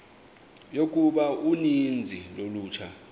yokuba uninzi lolutsha